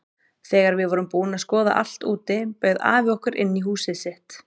Þegar við vorum búin að skoða allt úti bauð afi okkur inn í húsið sitt.